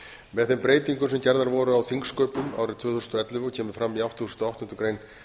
með þeim breytingum sem gerðar voru á þingsköpum árið og kemur fram í áttugustu og áttundu grein